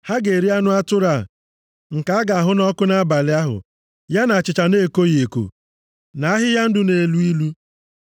Ha ga-eri anụ atụrụ a, nke a ga-ahụ nʼọkụ nʼabalị ahụ, ya na achịcha na-ekoghị eko, na ahịhịa ndụ na-elu ilu.